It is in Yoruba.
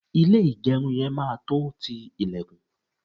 ilé igerun máa tọ ti ilekun